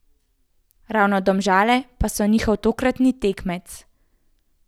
Ravno Domžale pa so njihov tokratni tekmec.